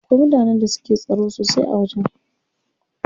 Akwai mutanen da suke tsaro sosai a wajen.